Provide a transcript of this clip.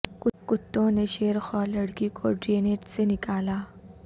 کتوں نے شیر خوار لڑکی کو ڈرینیج سے نکالا